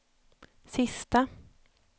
sista